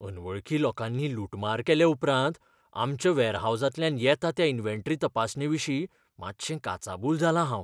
अनवळखी लोकांनी लुटमार केले उपरांत आमच्या वेरहाउसांतल्या येता त्या इन्व्हेंटरी तपासणेविशीं मातशें काचाबूल जालां हांव.